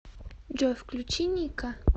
джой включи ника